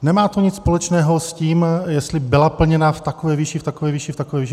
Nemá to nic společného s tím, jestli byla plněna v takové výši, v takové výši, v takové výši.